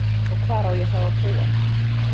Og hvar á ég þá að búa?